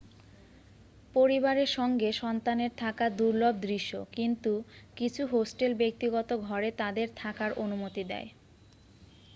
পরিবারের সঙ্গে সন্তানের থাকা দুর্লভ দৃশ্য কিন্তু কিছু হোস্টেল ব্যক্তিগত ঘরে তাদের থাকার অনুমতি দেয়